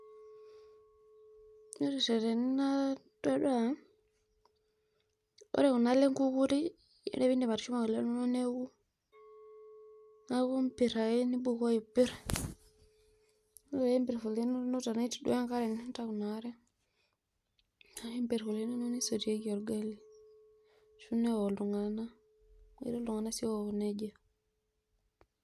Ore tene natadua, ore kunaale enkukuri naindip atushuma oleng neaku mpir ake nimbukoo aipir ore peimbor oleng ore petii duo enkare nintau inaare nimpir oleng ningua misotieki orgali ashu neok ltunganak, ketii ltunganak sii ook nejia.